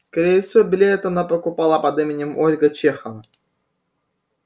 скорее всего билет она покупала под именем ольга чехова